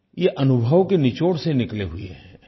ये अनुभव के निचोड़ से निकले हुए हैं